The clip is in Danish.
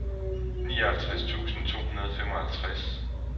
nioghalvtreds tusind to hundrede og femoghalvtreds